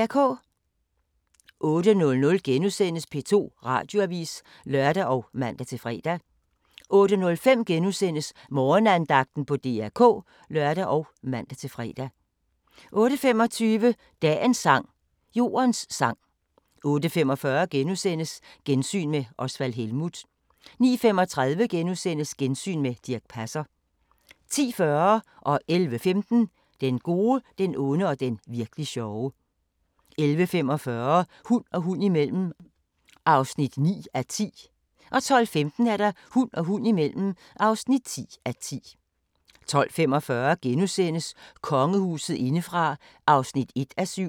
08:00: P2 Radioavis *(lør og man-fre) 08:05: Morgenandagten på DR K *(lør og man-fre) 08:25: Dagens sang: Jordens sang 08:45: Gensyn med Osvald Helmuth * 09:35: Gensyn med Dirch Passer * 10:40: Den gode, den onde og den virk'li sjove 11:15: Den gode, den onde og den virk'li sjove 11:45: Hund og hund imellem (9:10) 12:15: Hund og hund imellem (10:10) 12:45: Kongehuset indefra (1:7)*